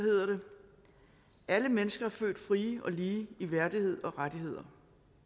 alle mennesker er født frie og lige i værdighed og rettigheder